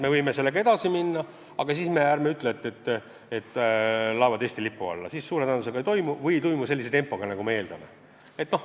Me võime ju sellega edasi minna, aga ärme pärast ütleme, et laevad Eesti lipu alla suure tõenäosusega ei tule või ei tule sellise tempoga, nagu me ootame.